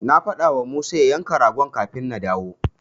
Na faɗawa Musa ya yanka ragon kafin na dawo.